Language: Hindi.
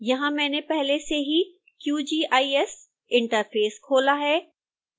यहां मैंने पहले से ही qgis इंटरफेस खोला है